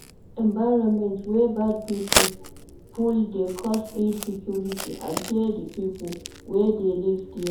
Environment wey bad pipo full de cause insecurity and fear di pipo wey de live there